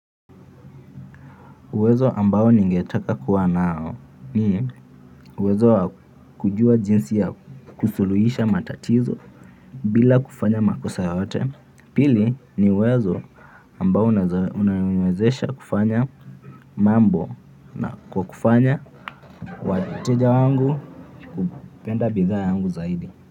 Uwezo ambao ningetaka kuwa nao ni uwezo wa kujua jinsi ya kusuluhisha matatizo bila kufanya makosa yote pili ni uwezo ambao unaoniwezesha kufanya mambo na kwa kufanya wateja wangu kupenda bidhaa yangu zaidi.